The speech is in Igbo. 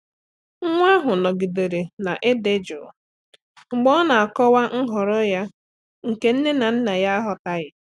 Nwa ahụ nọgidere na-adị jụụ mgbe ọ na-akọwa nhọrọ ya nke nne na nna aghọtaghị.